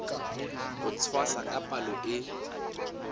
ho tshwasa ka palo e